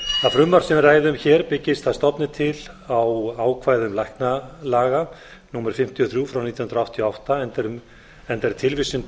frumvarp sem við ræðum hér byggist að stofni til á ákvæðum læknalaga númer fimmtíu og þrjú nítján hundruð áttatíu og átta enda er tilvísun til